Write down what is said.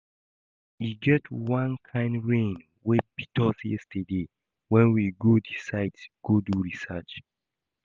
E get wan kin rain wey beat us yesterday wen we go the site go do research